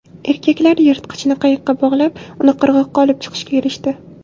Erkaklar yirtqichni qayiqqa bog‘lab, uni qirg‘oqqa olib chiqishga erishdi.